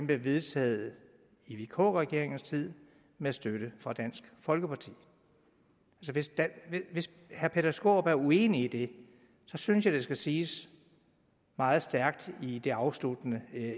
blev vedtaget i vk regeringens tid med støtte fra dansk folkeparti hvis herre peter skaarup er uenig i det synes jeg det skal siges meget stærkt i det afsluttende